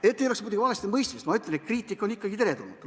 Et ei oleks valestimõistmist, ma ütlen, et kriitika on ikkagi teretulnud.